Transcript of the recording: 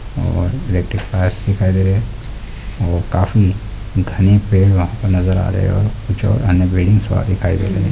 और electric wires दिखाई दे रहे हैं और काफी घने पेड़ वहाँ पर नजर आ रहे हैं |